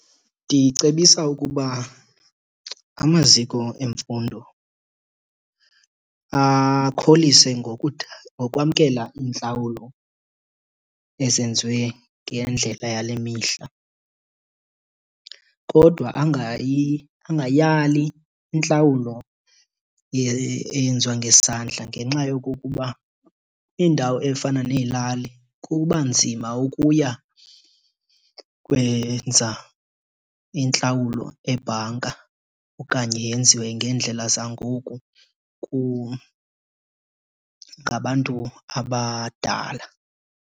Ndicebisa ukuba amaziko emfundo akholise ngokwamkela iintlawulo ezenziwe ngendlela yale mihla. Kodwa angayali intlawulo eyenziwa ngesandla ngenxa yokokuba indawo efana neelali kubanzima ukuya kwenza intlawulo ebhanka okanye yenziwe ngeendlella zangoku ngabantu abadala.